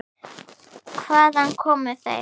Hvaðan komu þeir?